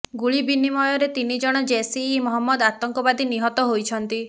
ଗୁଳି ବିନିମୟରେ ତିନି ଜଣ ଜୈସି ଇ ମହମ୍ମଦ ଆତଙ୍କବାଦୀ ନିହତ ହୋଇଛନ୍ତି